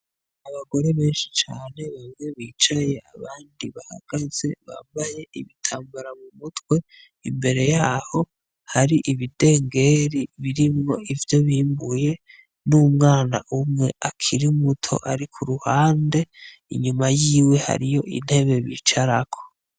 Abagore benshi cane bamwe bicaye abandi bahagaze bambaye ibitambara mu mutwe, imbere yaho hari ibidengeri birimwo ivyo bimbuye n'umwana umwe akiri muto ari kuruhande inyuma yiwe hariyo intebe bicarako.